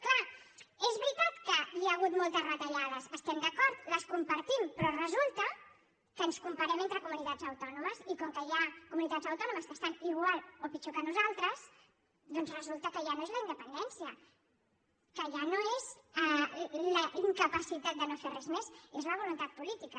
clar és veritat que hi ha hagut moltes retallades hi estem d’acord les compartim però resulta que ens comparem entre comunitats autònomes i com que hi ha comunitats autònomes que estan igual o pitjor que nosaltres doncs resulta que ja no és la independència que ja no és la incapacitat de no fer res més és la voluntat política